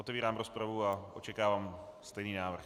Otevírám rozpravu a očekávám stejný návrh.